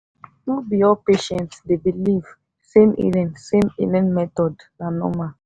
no be all patient dey believe same healing same healing method na normal.